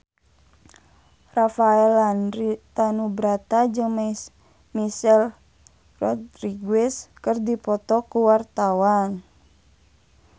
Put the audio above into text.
Rafael Landry Tanubrata jeung Michelle Rodriguez keur dipoto ku wartawan